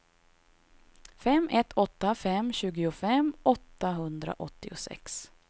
fem ett åtta fem tjugofem åttahundraåttiosex